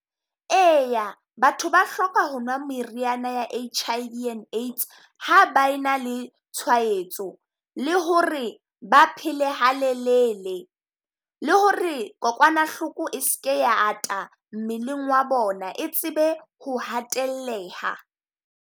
Eya batho ba hloka ho nwa meriana ya H_I_V and AIDS ha ba e na le tshwaetso. Le ho re ba pele halelele, le ho re kokwanahloko e seke ya ata mmeleng wa bona e tsebe ho hatelleha.